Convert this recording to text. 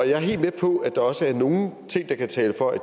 jeg er helt med på at der også er nogle ting der taler for at